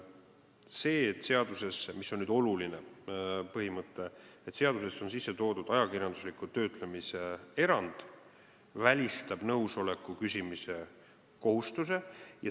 See, et seadusesse – see on oluline põhimõte – on sisse toodud ajakirjandusliku töötlemise erand, välistab nõusoleku küsimise kohustuse.